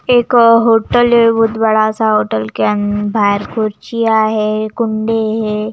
एक होटल है बहुत बड़ा-सा होटल के अं-बाहर खुर्चियाँं है कुंडे है।